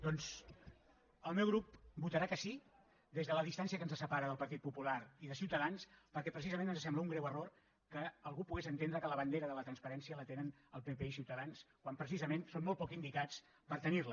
doncs el meu grup votarà que sí des de la distància que ens separa del partit popular i de ciutadans perquè precisament ens sembla un greu error que algú pogués entendre que la bandera de la transparència la tenen el pp i ciutadans quan precisament són molt poc indicats per tenir la